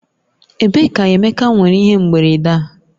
Ebee ka Emeka nwere ihe mberede a?